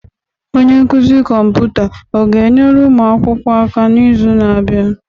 Onye nkuzi kọmputa ọ ga-enyere ụmụ akwụkwọ aka n'izu na-abịa?